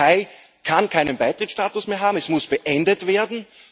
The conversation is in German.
Die Türkei kann keinen Beitrittsstatus mehr haben, es muss beendet werden.